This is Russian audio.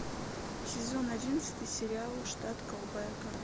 сезон одиннадцатый сериал штат голубая гора